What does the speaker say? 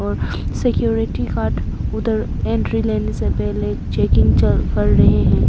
और security guard उधर entry लेने से पहले चेकिंग चल कर रहे हैं।